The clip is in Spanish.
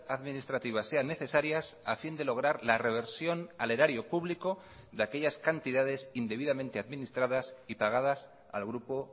administrativas sean necesarias a fin de lograr la reversión al erario público de aquellas cantidades indebidamente administradas y pagadas al grupo